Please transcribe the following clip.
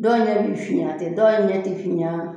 Dɔw ɲɛ bɛ finya ten dɔw ɲɛ tɛ finya